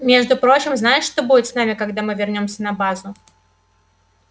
между прочим знаешь что будет с нами когда мы вернёмся на базу